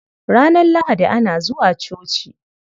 Ranar Lahadi ana zuwa coci.